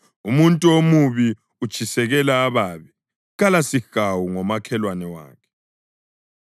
Umuntu omubi utshisekela ububi; kalasihawu ngomakhelwane wakhe.